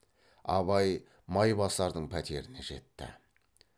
абай майбасардың пәтеріне жетті